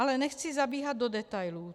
Ale nechci zabíhat do detailů.